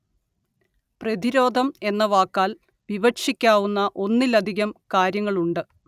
പ്രതിരോധം എന്ന വാക്കാല്‍ വിവക്ഷിക്കാവുന്ന ഒന്നിലധികം കാര്യങ്ങളുണ്ട്